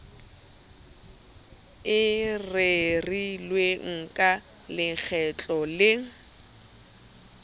e rerilweng ka lekgetlo le